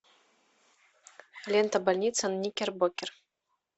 лента больница никербокер